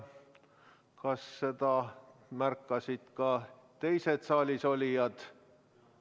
Kas seda märkasid ka teised saalis olijad?